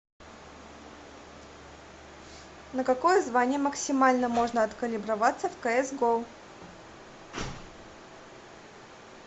на какое звание максимально можно откалиброваться в кс го